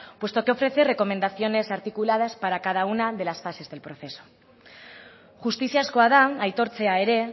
puesto que ofrece recomendaciones articuladas para cada una de las fases del proceso justiziazkoa da aitortzea ere